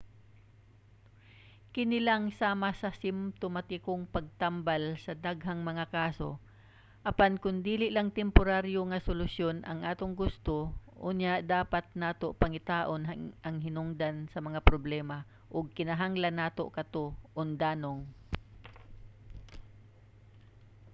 kini lang sama sa simtomatikong pagtambal sa daghang mga kaso. apan kon dili lang temporaryo nga solusyon ang atong gusto unya dapat nato pangitaon ang hinungdan sa mga problema ug kinahanglan nato kato undanong